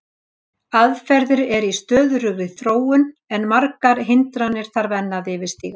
Aðferðir eru í stöðugri þróun en margar hindranir þarf að enn yfirstíga.